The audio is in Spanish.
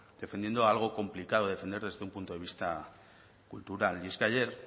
defendiendo algo complicado de defender desde un punto de vista cultural y es que ayer